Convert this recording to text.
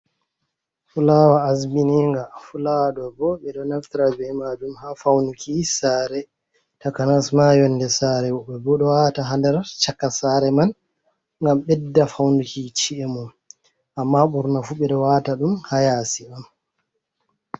Fulawa azbininga fulawa ɗo bo ɓe ɗo naftira be majum ha faunuki sare, takanas ma yonde sare, woɓɓe bo ɓe ɗo wata ha ndar chaka sare man ngam ɓeɗɗa faunuki ci’e mon amma ɓurna fu ɓeɗo wata ɗum ha yasi am